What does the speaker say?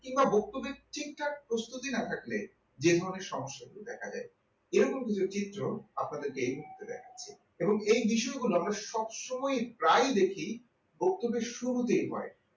কিংবা বক্তব্যের ঠিকঠাক প্রস্তুতি না থাকলে যে ধরণের সমস্যাটি দেখা দেয় এরকম কিছু চিত্র আপনাদেরকে এই মুহূর্তে দেখাচ্ছি। এবং এই বিষয়গুলো আমরা সবসময় প্রায়ই দেখি বক্তব্য শুরুতেই হয়।